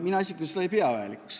Mina isiklikult ei pea seda vajalikuks.